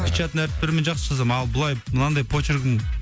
печатный әріптермен жақсы жазамын ал былай мынандай почеркім